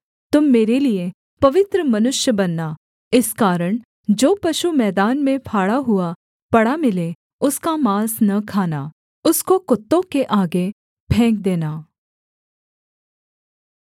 तुम मेरे लिये पवित्र मनुष्य बनना इस कारण जो पशु मैदान में फाड़ा हुआ पड़ा मिले उसका माँस न खाना उसको कुत्तों के आगे फेंक देना